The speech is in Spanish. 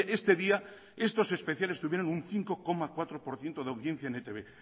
este día estos especiales tuvieron un cinco coma cuatro por ciento de audiencia en etb